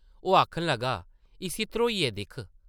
ओह् आखन लगा, ‘‘इस्सी ध्रोइयै दिक्ख ।’’